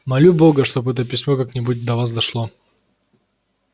молю бога чтоб это письмо как-нибудь до вас дошло